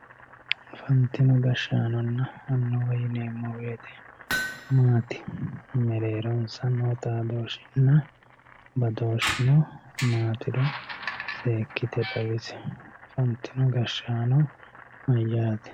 afantino gashshaanonna annuwa yineemmo woyiite maati mereeronsa noo xaadooshshinna badooshshino maatiro seekkite xawisi afantino gashshaano mayyaate.